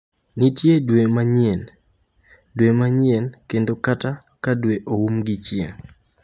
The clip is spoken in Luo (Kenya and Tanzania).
Nitie dwe manyien, dwe manyien, dwe manyien kendo kata ka dwe oumo gi chieng’.